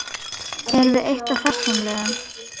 Erum við eitt af þessum liðum?